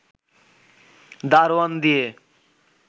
দারোয়ান দিয়ে